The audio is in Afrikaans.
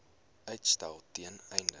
uitstel ten einde